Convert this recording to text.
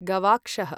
गवाक्षः